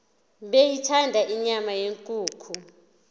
beyithanda inyama yenkukhu